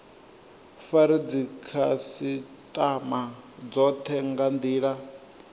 fare dzikhasitama dzothe nga ndila